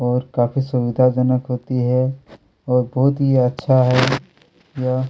और काफ़ी सुविधा जनक होती है और बहुत ही अच्छा है यह--